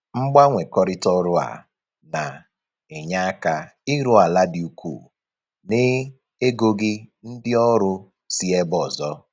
Mgbanwekọrịta ọrụ a na-enye aka ịrụ ala dị ukwu na-egoghị ndị ọrụ si ebe ọzọ